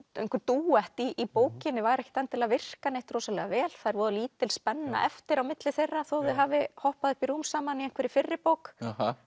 einhver dúett í bókinni væri ekkert endilega að virka rosalega vel það er voða lítil spenna eftir á milli þeirra þó þau hafi hoppað upp í rúm saman í einhverri fyrri bók